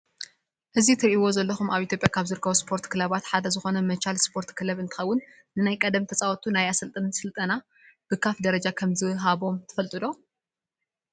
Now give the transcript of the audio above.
እዚ እትሪእዎ ዘለኹም ኣብ ኢትዮጵያ ካብ ዝርከቡ ስፖርት ክለባት ሓደ ዝኾነ መቻል ስፖርት ክለብ እንትኸውን ንናይ ቀደም ተፃወቱ ናይ ኣሰልጠንቲ ስልጠና ብካፍ ደረጃ ከም ዝሃቦም ትፈልጡ ዶ?